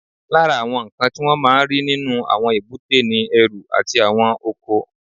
Lára àwọn nǹkan tí wọ́n máa ń rí nínú àwọn èbúté ni ẹrù àti àwọn ọkọ̀ àfiṣelé